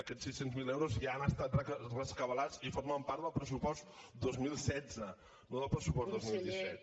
aquest sis cents miler euros ja han estat rescabalats i formen part del pressupost dos mil setze no del pressupost dos mil disset